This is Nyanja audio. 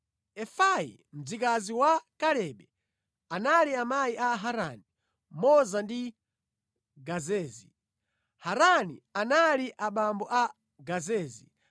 Efai, mzikazi wa Kalebe, anali amayi a Harani, Moza ndi Gazezi. Harani anali abambo a Gazezi.